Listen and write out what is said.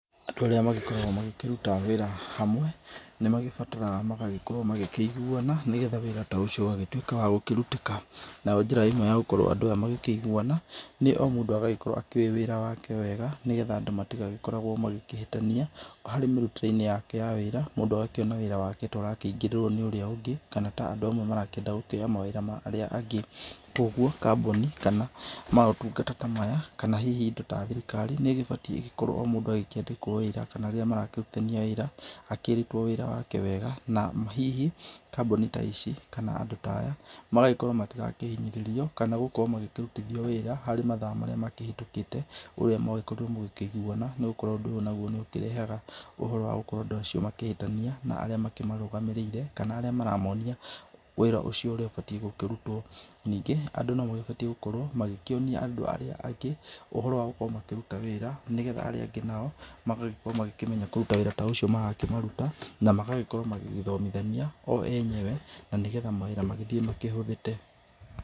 Andũ arĩa magĩkoragwo makĩruta wĩra hamwe, nĩmagĩbataraga magagĩkorwo makĩiguana, nĩgetha wĩra ta ũcio ũgatuĩka wa kũrutĩka. Nayo njĩra ĩmwe ya gũkorwo andũ aya makĩiguana, nĩ o mũndũ agagĩkorwo akĩũwĩ wĩra wake wega, nĩgetha andũ matigakorwo makĩhĩtania. Harĩ mĩrutĩre-inĩ yake ya wĩra, mũndũ agakĩona wĩra wake ta ũraingĩrĩrwo nĩ ũrĩa ũngĩ, kana ta andũ amwe marenda kuoya mawĩra ma andũ arĩa angĩ. Koguo kambũni, kana motugata ta maya kana hihi indo ta thirikari, nĩ ĩbatiĩ igĩkorwo o mũndũ akĩandĩkwo kana rĩrĩa marakĩrutania wĩra, akĩĩrĩtwo wĩra wake wega na hihi kambũni ta ici kana andũ ta aya magagĩkorwo matirakĩhinyĩrĩrio kana gũkorwo makĩrutithio wĩra harĩ mathaa marĩa mahĩtũkĩte ũrĩa mwakorirwo mũkĩiguana. Nĩ gũkorwo ũndũ uyu nĩũkĩrehaga ũhoro wa andũ aya gũkorwo makĩhĩtania na arĩa mamarũgamĩrĩire kana arĩa maramonia wĩra ũcio ũrĩa ũbatiĩ kũrutwo. Ningĩ, andũ nomagĩbatiĩ gũkorwo makĩonia andũ arĩa angĩ, ũhoro wa gũkorwo makĩruta wĩra, nĩgetha arĩa angĩ nao magakorwo makĩmenya kũruta wĩra ũcio marakĩmaruta na magakorwo magĩgĩthomithania o enyewe, na nĩgetha mawĩra magagĩthiĩ makĩhũthĩte.